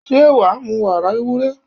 Ṣé wàá mu wàrà ewúrẹ́?